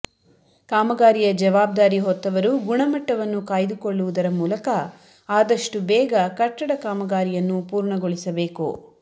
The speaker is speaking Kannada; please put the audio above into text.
ಕಾಮಗಾರಿಯ ಜವಾಬ್ದಾರಿ ಹೊತ್ತವರು ಗುಣಮಟ್ಟವನ್ನು ಕಾಯ್ದುಕೊಳ್ಳುವುದರ ಮೂಲಕ ಆದಷ್ಟು ಬೇಗ ಕಟ್ಟಡ ಕಾಮಗಾರಿಯನ್ನು ಪೂರ್ಣಗೊಳಿಸಬೇಕು